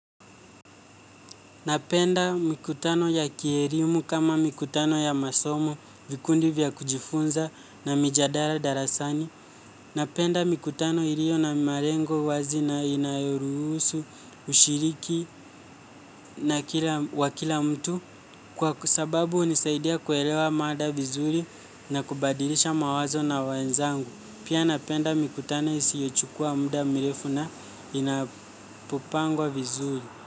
Napenda mikutano ya kierimu kama mikutano ya masomo, vikundi vya kujifunza na mijadara darasani. Napenda mikutano ilio na marengo wazi na inayoruhusu, ushiriki na wa kila mtu kwa sababu unisaidia kuelewa mada vizuri na kubadilisha mawazo na wenzangu. Pia napenda mikutano isiochukua muda mirefu na inapopangwa vizuri.